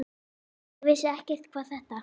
Ég vissi ekkert hvað þetta